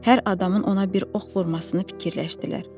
Hər adamın ona bir ox vurmasını fikirləşdilər.